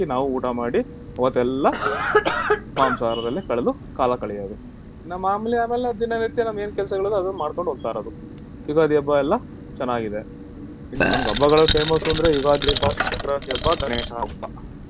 ನಾವು ಊಟ ಮಾಡಿ ಅವತ್ತೆಲ್ಲಾ ಮಾಂಸ ಆಹಾರದಲ್ಲೇ ಕಳ್ದು ಕಾಲ ಕಳಿಯುದ್ ಮಾಮೂಲಿ ದಿನನಿತ್ಯ ನಮ್ಮ ಏನ್ ಕೆಲಸಗಳಿರುತ್ತೆ ಅದುನ್ನ ಮಾಡ್ಕೊಂಡು ಹೋಗ್ತಾ ಇರೋದು ಯುಗಾದಿ ಹಬ್ಬ ಚೆನ್ನಾಗಿತ್ತು ಇನ್ನೂ ಹಬ್ಬಗಳಲ್ಲಿ famous ಅಂದ್ರೆ ಯುಗಾದಿ ಹಬ್ಬ , ಸಾಂಕ್ರಾತಿ ಹಬ್ಬ . ಗಣೇಶ ಹಬ್ಬ.